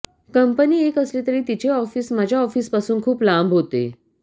company एक असली तरी तिचे ऑफिस माझ्या ऑफिसपासून खूप लांब होते